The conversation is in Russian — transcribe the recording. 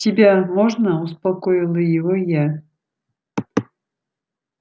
тебя можно успокоила его я